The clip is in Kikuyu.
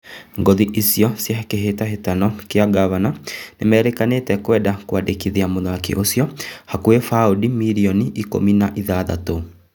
Ngũthi ũcio cia kĩhĩtahĩtano kĩa Ngavana nĩmerĩkanĩte kwenda kwandĩkithia mũthaki ũcio na hakuhĩ baũndi mirioni ikũmi na ithathatũ.